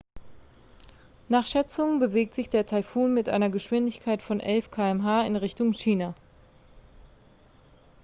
nach schätzungen bewegt sich der taifun mit einer geschwindigkeit von 11 km/h in richtung china